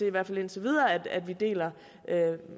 i hvert fald indtil videre om vi deler